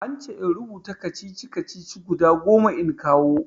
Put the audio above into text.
An ce in rubuta kacici-kacici guda goma in kawo.